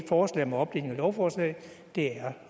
forslag om opdeling af lovforslag er